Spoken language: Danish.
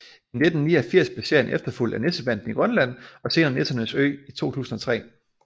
I 1989 blev serien efterfulgt af Nissebanden i Grønland og senere Nissernes Ø i 2003